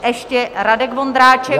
Ještě Radek Vondráček.